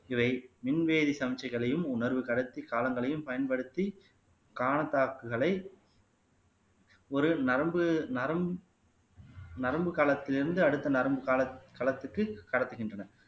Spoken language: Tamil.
இவை மின்வேதி சமிச்சைகளையும் உணர்வு கடத்தி காலங்களையும் பயன்படுத்தி காணத்தாக்குகளை ஒரு நரம்பு நரம் நரம்பு களத்தில் இருந்து அடுத்த நரம்பு கால களத்துக்கு கடத்துகின்றன